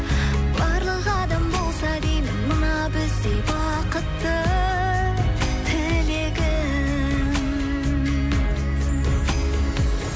барлық адам болса деймін мына біздей бақытты тілегім